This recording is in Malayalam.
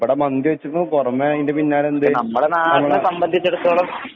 ഇവിടെ മന്തി വെച്ചതിന് പുറമെ അയിന്റെ പിന്നാലെ എന്ത്?